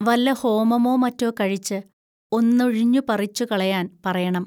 വല്ല ഹോമമോ മറ്റോ കഴിച്ച് ഒന്നുഴിഞ്ഞുപറിച്ചു കളയാൻ പറയണം